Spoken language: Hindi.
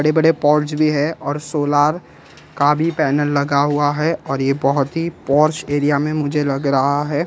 बड़े बड़े पोर्च भी है और सोलर का भी पैनल लगा हुआ है और ये बहुत ही पोर्च एरिया में मुझे लग रहा है।